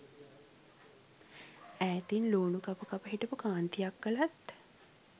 ඈතින් ලූණු කප කප හිටපු කාන්ති අක්කලත්